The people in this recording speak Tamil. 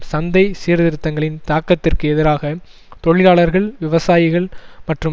சந்தை சீர்திருத்தங்களின் தாக்கத்திற்கு எதிராக தொழிலாளர்கள் விவசாயிகள் மற்றும்